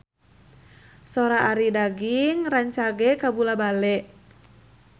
Sora Arie Daginks rancage kabula-bale